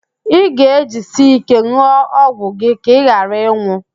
Ị ga-ejisi íké n̄ụọ ọgwụ gị ka ị ghara ịnwụ